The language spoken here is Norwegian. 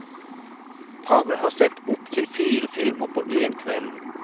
Paret har sett opptil fire filmer på én kveld.